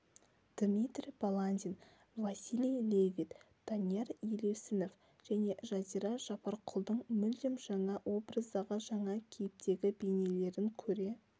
дмитрий баландин василий левит данияр елеусінов және жазира жапарқұлдың мүлдем жаңа образдағы жаңа кейіптегі бейнелерін көре